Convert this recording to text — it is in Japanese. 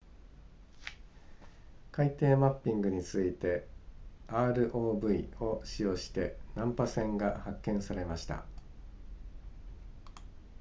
海底マッピングに続いて rov を使用して難破船が発見されました